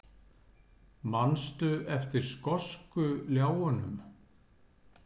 Manstu eftir skosku ljáunum?